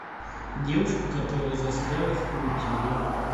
девушка которая застряла в паутине